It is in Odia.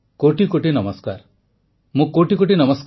ମହାନ ସ୍ୱାଧୀନତା ସଂଗ୍ରାମୀ ବିର୍ସା ମୁଣ୍ଡାଙ୍କୁ ସ୍ମରଣ କଲେ ପ୍ରଧାନମନ୍ତ୍ରୀ